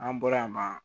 An bɔra yen nɔ